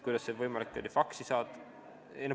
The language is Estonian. Miks see peaks olema lülitatud faksirežiimile?